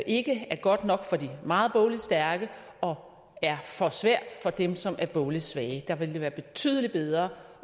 ikke er godt nok for de meget bogligt stærke og er for svært for dem som er bogligt svage der ville det være betydelig bedre